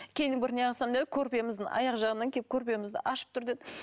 көрпеміздің аяқ жағынан келіп көрпемізді ашып тұр деді